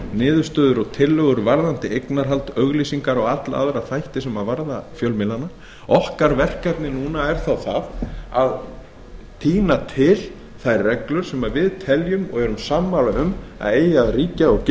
niðurstöður og tillögur varðandi eignarhald auglýsingar og alla aðra þætti sem varða fjölmiðlana verkefni okkar núna er að tína til þær reglur sem við teljum og erum sammála um að eigi að ríkja og